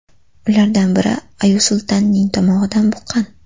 Ulardan biri Aysultanning tomog‘idan buqqan.